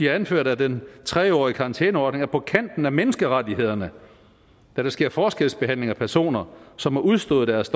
har anført at den tre årige karantæneordning er på kanten af menneskerettighederne da der sker forskelsbehandling af personer som har udstået deres